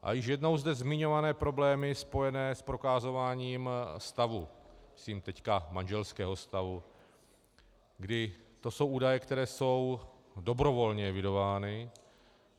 A již jednou zde zmiňované problémy spojené s prokazováním stavu, myslím teď manželského stavu, kdy to jsou údaje, které jsou dobrovolně evidovány.